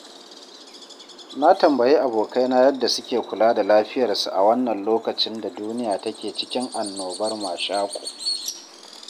Na tambayi abokaina yadda suke kula da lafiyarsu a wannan lokacin da duniya take cikin annonar cutar mashaƙo.